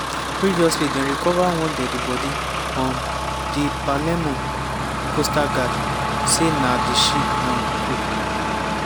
previously dem recova one deadi-bodi um - di palermo coastguard say na di ship um cook.